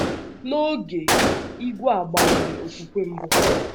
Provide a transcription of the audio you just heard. N’oge, ìgwè a gbanwere okwùkwè mbụ ha.